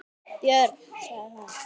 Björg, sagði hún.